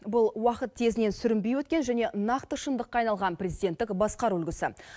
бұл уақыт тезінен сүрінбей өткен және нақты шындыққа айналған президенттік басқару үлгісі